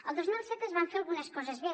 el dos mil set es van fer algunes coses bé